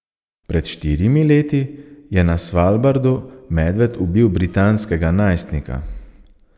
Pred štirimi leti je na Svalbardu medved ubil britanskega najstnika.